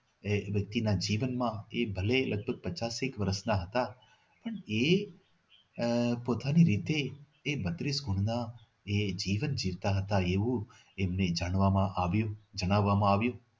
વ્યક્તિના જીવનમાં એ ભલે લગભગ પચાસેક વર્ષના હતા એ આહ પોતાની રીતે એ બત્રીસ કુળના એ જીવન જીવતા હતા એવું એમને જાણવામાં આવ્યું જણાવવામાં આવ્યું